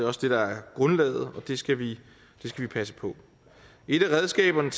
også det der er grundlaget og det skal vi passe på et af redskaberne